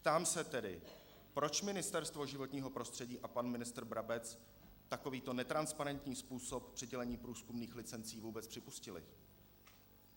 Ptám se tedy, proč Ministerstvo životního prostředí a pan ministr Brabec takovýto netransparentní způsob přidělení průzkumných licencí vůbec připustili?